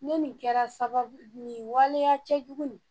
Ne nin kɛra sababu ye nin waleya cɛjugu nin